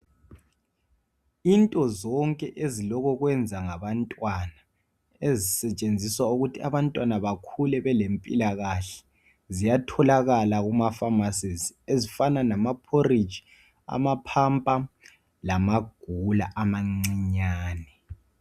Into zonke ezilokokwenza ngabantwana ezisetshenziswa ukuthi abantwana bakhule belempilakahle. Ziyatholakala kumapharmacies ezifana lama phoriji amaphampa lamagula amancinyani